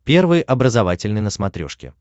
первый образовательный на смотрешке